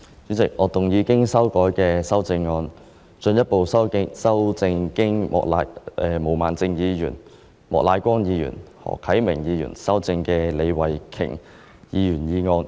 主席，我動議我經修改的修正案，進一步修正經毛孟靜議員、莫乃光議員及何啟明議員修正的李慧琼議員議案。